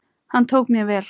Hann tók mér vel.